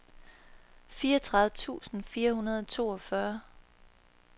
fireogtredive tusind fire hundrede og toogfyrre